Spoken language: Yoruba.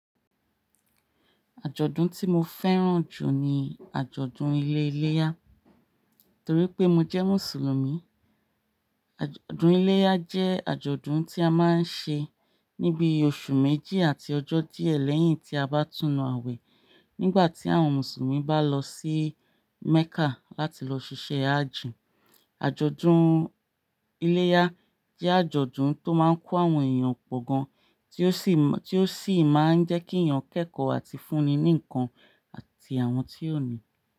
Àjọ̀dún tí mo fẹ́ràn jù ni àjọ̀dún ilé iléyá torí pé mo jẹ́ Mùsùlùmí. Àjọ̀dún iléyá jẹ́ àjọ̀dún tí a máa ń ṣe níbi oṣù méjì àti ọjọ́ díẹ̀ lẹ́yìn tí a bá tùnu awẹ́ nígbà tí àwọn Mùsùlùmí bá lọ sí Mẹ́kà láti lọ ṣiṣẹ́ Hájì. Àjọ̀dún iléyá jẹ́ àjọ̀dún tó máa ń kó àwọn ẹ̀yàn pọ̀ gan, tí ó sì máa ń jẹ́ kíyàn kẹ́kọ àti fúni ní ǹkan àti àwọn tí ò ní.